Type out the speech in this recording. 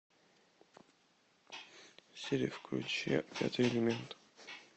сири включи пятый элемент